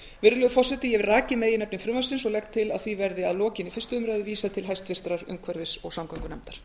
virðulegur forseti ég hef rakið meginefni frumvarpsins og legg til að því verði að lokinni fyrstu umræðu vísað til háttvirtrar umhverfis og samgöngunefndar